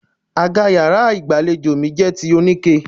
Àga yàrá ìgbàlejò mi jẹ́ ti oníke.